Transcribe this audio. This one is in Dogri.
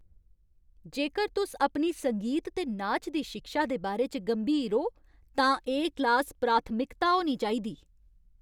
जेकर तुस अपनी संगीत ते नाच दी शिक्षा दे बारे च गंभीर ओ तां एह् क्लास प्राथमिकता होनी चाहिदी।